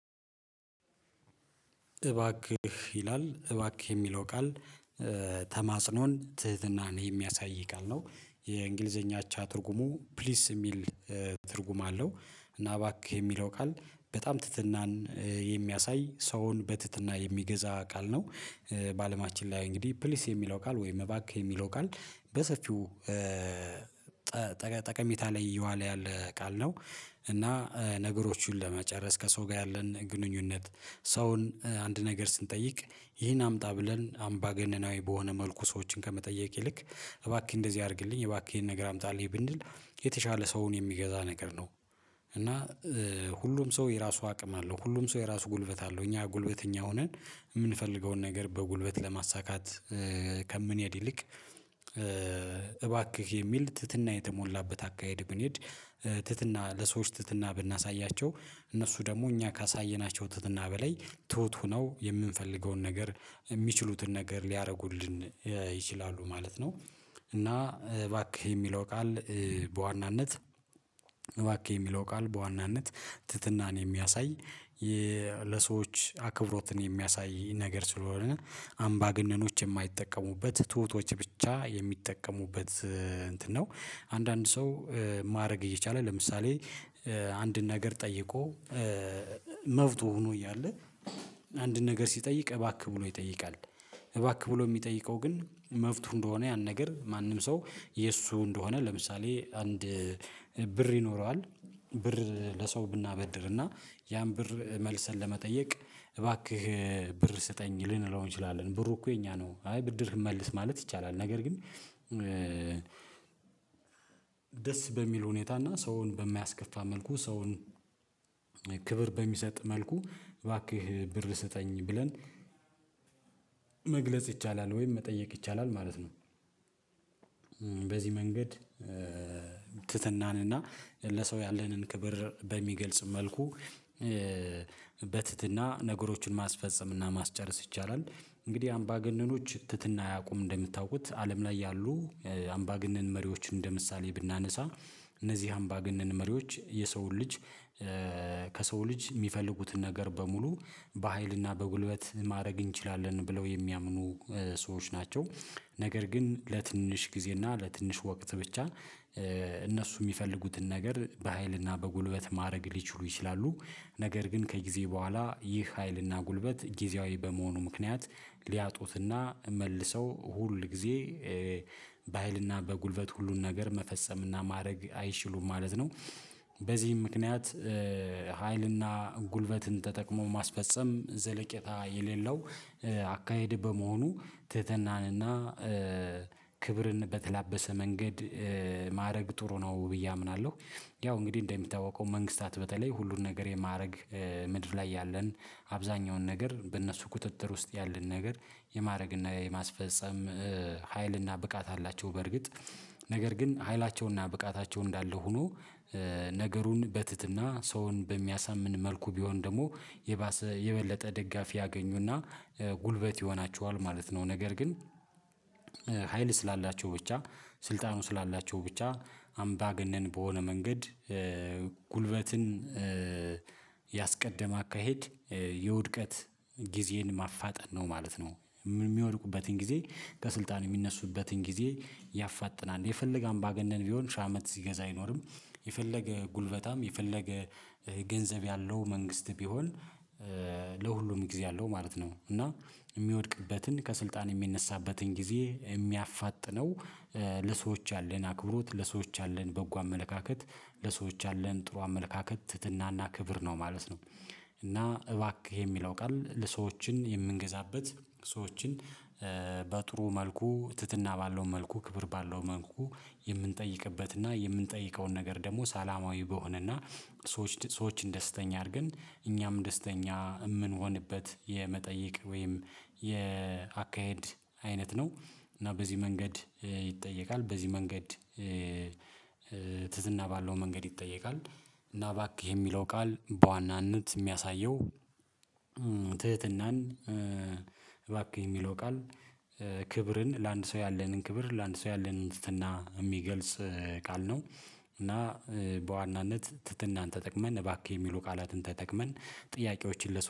እባክህ ይላል እባክህ የሚለው ቃል ተማጽኖን ትህትናን የሚያሳይ ቃል ነው የእንግሊዘኛ አቻ ትርጉሙ ፕሊስ የሚል ትርጉም አለው። እና እባክህ የሚለው ቃል በጣም ትህትናን የሚያሳይ ሰውን በትህትና የሚገዛ ቃል ነው። በአለማችን ላይ እንግዲህ ፕሊስ የሚለው ቃል ወይም እባክህ የሚለው ቃል በሰፊው ጠቀሜታ ላይ እየዋል ያለ ቃል ነው። እና ነገሮቹን ለመጨረስ ከሰው ጋር ያለን ግንኙነት ሰውን አንድ ነገር ስንጠይቅ ይህን አምጣ ብለን አምባገነናዊ በሆነ መልኩ ሰዎችን ከመጠየቅ ይልቅ እባክህ እንደዚህ አድርግልኝ እባክህ ይሄን ነገር አምጣልኝ ብንል የተሻለ ሰውን የሚገዛ ነገር ነው። እና ሁሉም ሰው የራሱ አቅም አለው ሁሉም ሰው የራሱ ጉልበት አለው እኛ ጉልበተኛ ሆነን የምንፈልገውን ነገር በጉልበት ለማሳካት ከምንሄድ ይልቅ እባክህ የሚል ትህትና የተሞላበት አካሄድ ብንሄድ ትህትና ለሰዎች ትህትና ብናሳያቸው እነሱ ደግሞ እኛ ካሳየናቸው ትህትና በላይ ትሁት ሆነው የምንፈልገውን ነገር የሚችሉትን ነገር ሊያደርጉልን ይችላሉ ማለት ነው። እና እባክህ የሚለው ቃል በዋናነት እባክህ የሚለው ቃል በዋናነት ትህትናን የሚያሳይ ለሰዎች አክብሮትን የሚያሳይ ነገር ስለሆነ አምባገነኖች የማይጠቀሙበት ትሁቶች ብቻ የሚጠቀሙበት እንትን ነው። አንዳንድ ሰው ማድረግ እየቻለ ለምሳሌ አንድን ነገር ጠይቆ መብቱ ሆኖ እያለ አንድን ነገር ሲጠይቅ እባክህ ብሎ ይጠይቃል። እባክህ ብሎ የሚጠይቀው ግን መብቱ እንደሆነ ያን ነገር ማንም ሰው የእሱ እንደሆነ ለምሳሌ አንድ ብር ይኖረዋል ብር ለሰው ብናበድርና ያን ብር መልሰን ለመጠየቅ እባክህ ብር ስጠኝ ልንለው እንችላለን ብሩ እኮ የኛ ነው አይ ብድር መልስ ማለት ይቻላል። ነገር ግን ደስ በሚል ሁኔታ እና ሰውን በማያስከፋ መልኩ ሰውን ክብር በሚሰጥ መልኩ እባክህ ብር ስጠኝ ብለን መግለጽ ይቻላል ወይም መጠየቅ ይቻላል ማለት ነው። በዚህ መንገድ ትህትናን እና ለሰው ያለንን ክብር በሚገልጽ መልኩ በትህትና ነገሮችን ማስፈጸም እና ማስጨረስ ይቻላል። እንግዲህ አምባገነኖች ትህትና አያቁም እንደምታውቁት አለም ላይ ያሉ አምባገነን መሪዎችን እንደምሳሌ ብናነሳ እነዚህ አምባገነን መሪዎች የሰው ልጅ ከሰው ልጅ የሚፈልጉትን ነገር በሙሉ በሃይልና በጉልበት ማድረግ እንችላለን ብለው የሚያምኑ ሰዎች ናቸው። ነገር ግን ለትንሽ ጊዜ እና ለትንሽ ወቅት ብቻ እነሱ የሚፈልጉትን ነገር በሃይል እና በጉልበት ማድረግ ሊችሉ ይችላሉ። ነገር ግን ከጊዜ በኋላ ይህ ሀይልና ጉልበት ጊዜያዊ በመሆኑ ምክንያት ሊያጡትና መልሰው ሁል ጊዜ በሃይልና በጉልበት ሁሉን ነገር መፈጸምና ማድረግ አይችሉም ማለት ነው። በዚህ ምክንያት ሀይልና ጉልበትን ተጠቅሞ ማስፈጸም ዘለቄታ የሌለው አካሄድ በመሆኑ ትህትናንና ክብርን በተላበሰ መንገድ ማድረግ ጥሩ ነው ብዬ አምናለሁ። ያው እንግዲህ እንደሚታወቀው መንግስታት በተለይ ሁሉን ነገር የማድረግ ምድር ላይ ያለን አብዛኛውን ነገር በእነሱ ቁጥጥር ውስጥ ያለን ነገር የማድረግ እና የማስፈጸም ሀይል እና ብቃት አላቸው። በርግጥ ነገር ግን ሀይላቸው እና ብቃታቸው እንዳለ ሆኖ ነገሩን በትህትና ሰውን በሚያሳምን መልኩ ቢሆን ደግሞ የባሰ የበለጠ ደጋፊ ያገኙና ጉልበት ይሆናቸዋል ማለት ነው። ነገር ግን ሀይል ስላላቸው ብቻ ስልጣኑ ስላላቸው ብቻ አምባገነን በሆነ መንገድ ጉልበትን ያስቀደመ አካሄድ የውድቀት ጊዜን ማፋጠን ነው ማለት ነው። የሚወድቁበትን ጊዜ ከስልጣን የሚነሱበትን ጊዜ ያፋጥናል የፈለገ አምባገነን ቢሆን ሺ አመት ሲገዛ አይኖርም። የፈለገ ጉልበታም የፈለገ ገንዘብ ያለው መንግስት ቢሆን ለሁሉም ጊዜ አለው ማለት ነው። እና የሚወድቅበትን ከስልጣን የሚነሳበትን ጊዜ የሚያፋጥነው ለሰዎች ያለን አክብሮት ለሰዎች ያለን በጎ አመለካከት ለሰዎች ያለን ጥሩ አመለካከት ትህትናና ክብር ነው ማለት ነው። እና እባክህ የሚለው ቃል ለሰዎችን የምንገዛበት ሰዎችን በጥሩ መልኩ ትህትና ባለው መልኩ ክብር ባለው መልኩ የምንጠይቅበትና የምንጠይቀውን ነገር ደግሞ ሰላማዊ በሆነና ሰዎች ሰዎችን ደስተኛ አድርገን እኛም ደስተኛ የምንሆንበት የመጠየቅ ወይም የአካሄድ አይነት ነው። እና በዚህ መንገድ ይጠየቃል በዚህ መንገድ ትህትና ባለው መንገድ ይጠየቃል። እና እባክህ የሚለው ቃል በዋናነት የሚያሳየው ትህትናን እባክህ የሚለው ቃል ክብርን ለአንድ ሰው ያለንን ክብር ለአንድ ሰው ያለንን ትህትና የሚገልጽ ቃል ነው። እና በዋናነት ትህትናን ተጠቅመን እባክህ የሚሉ ቃላትን ተጠቅመን ጥያቄዎችን ለሰው